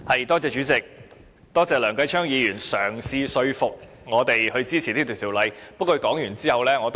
代理主席，多謝梁繼昌議員嘗試說服我們支持《2017年稅務條例草案》。